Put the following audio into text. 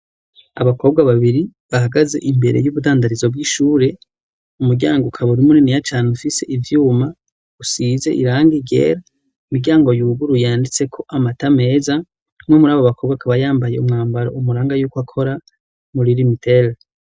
abakobwa babiri bahagaze imbere y'ubudandarizo bw'ishure umuryango ukaburi muniniya cane ufise ivyuma usize irangi ryera imiryango yuguruye yanditse ko amata meza mwe muri abo bakobwa akaba yambaye umwambaro umuranga yuko akora muri rimitel